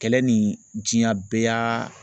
Kɛlɛ ni diɲan bɛɛ y'a